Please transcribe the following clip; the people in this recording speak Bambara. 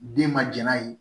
Den ma jɛn n'a ye